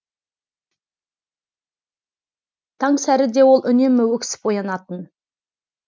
таңсәріде ол үнемі өксіп оянатын